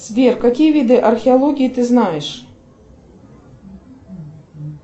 сбер какие виды археологии ты знаешь